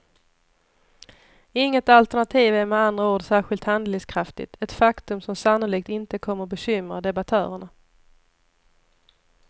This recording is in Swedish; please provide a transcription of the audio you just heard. Inget alternativ är med andra ord särskilt handlingskraftigt, ett faktum som sannolikt inte kommer bekymra debattörerna.